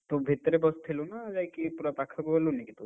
ତୁ ଭିତରେ ବସଥିଲୁ ନା ଯାଇକି ପୁରା ପାଖକୁ ଗଲୁନି କି ତୁ?